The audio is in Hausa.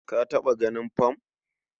Ka taɓa ganin fam.